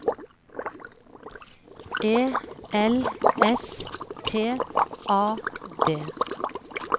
E L S T A D